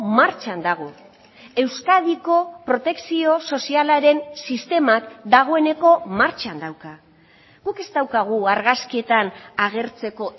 martxan dago euskadiko protekzio sozialaren sistemak dagoeneko martxan dauka guk ez daukagu argazkietan agertzeko